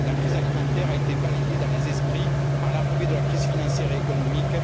La crise alimentaire a été balayée dans les esprits par l'arrivée de la crise financière et économique.